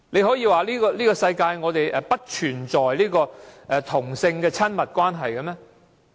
可以說世界不存在同性的親密關係嗎？